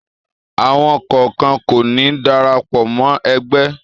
Àwọn kọ̀ọ̀kan kò ní darapọ̀ mọ́ ẹgbẹ́.